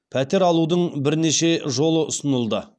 пәтер алудың бірнеше жолы ұсынылды